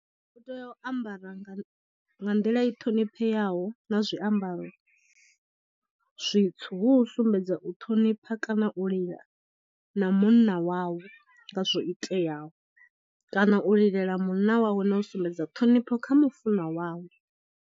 U tea u ambara nga nḓila i ṱhonipheaho na zwiambaro zwitswu hu u sumbedza u ṱhonipha kana u lila na munna wawe nga zwo iteaho kana u lilela munna wawe na u sumbedza ṱhonipho kha mufunwa wawe.